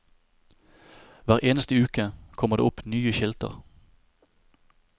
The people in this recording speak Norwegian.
Hver eneste uke kom det opp nye skilter.